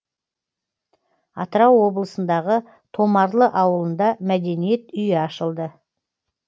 атырау облысындағы томарлы ауылында мәдениет үйі ашылды